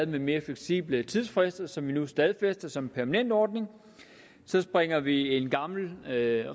med mere fleksible tidsfrister som vi nu stadfæster som en permanent ordning så springer vi en gammel regel